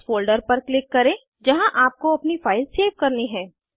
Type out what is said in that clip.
उस फोल्डर पर क्लिक करें जहाँ आपको अपनी फाइल सेव करनी है